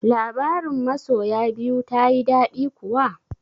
Labarin masoya biyu tayi daɗi kuwa?